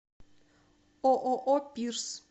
ооо пирс